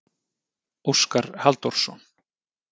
Óskar Halldórsson.